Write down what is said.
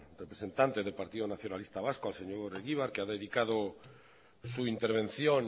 represente del partido nacionalista vasco al señor egibar que ha dedicado su intervención